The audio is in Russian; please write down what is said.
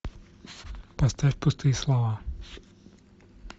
поставь пустые слова